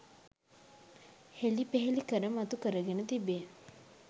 හෙළි පෙහෙළි කර මතු කරගෙන තිබේ.